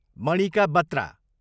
Manika Batra